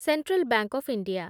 central bank of India